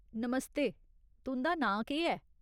नमस्ते, तुं'दा नांऽ केह् ऐ ?